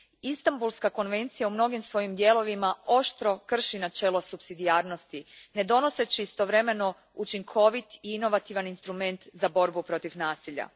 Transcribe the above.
Istanbulska konvencija u mnogim svojim dijelovima oštro krši načelo supsidijarnosti ne donoseći istovremeno učinkovit i inovativan instrument za borbu protiv nasilja.